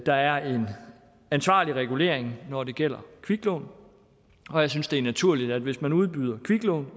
der er en ansvarlig regulering når det gælder kviklån og jeg synes det er naturligt at hvis man udbyder kviklån